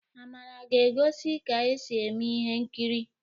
Amara ga-egosi ka esi eme ihe nkiri'